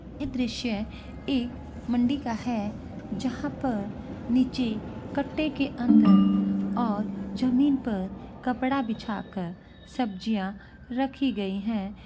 ये दृश्य एक मंदिर का है | जहाँ पर नीचे कटे के अंदर और जमीन पर कपड़ा बीछा कर सब्जियाँ रखी गई हैं।